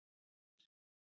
Snær